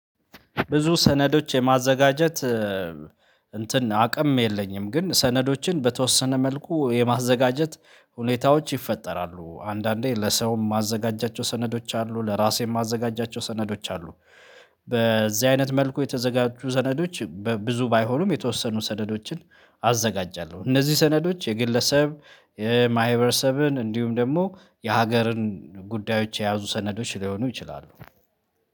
ብዙ ሰነዶች የማዘጋጀት እንትን አቅም የለኝም። ግን ሰነዶችን በተወሰነ መልኩ የማዘጋጀት ሁኔታዎች ይፈጠራሉ አንዳንዴ ለሰውም ማዘጋጃቸው ሰነዶች አሉ። ለራሴም የማዘጋጃቸው ሰነዶች አሉ። በዚህ አይነት መልኩ የተዘጋጁ ሰነዶች ብዙ ባይሆኑም የተወሰኑ ሰነዶችን አዘጋጃለሁ። እነዚህ ሰነዶች የግለሰብ የማህበረሰብን እንዲሁም ደግሞ የሀገርን ጉዳዮች የያዙ ሰነዶች ሊሆኑ ይችላሉ